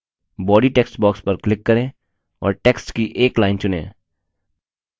body text box पर click करें और text की एक line चुनें